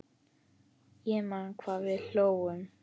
Ég man hvað við hlógum.